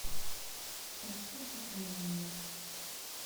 экспорт рэймонда